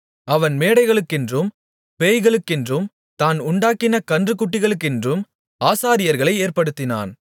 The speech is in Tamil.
அவன் மேடைகளுக்கென்றும் பேய்களுக்கென்றும் தான் உண்டாக்கின கன்றுக்குட்டிகளுக்கென்றும் ஆசாரியர்களை ஏற்படுத்தினான்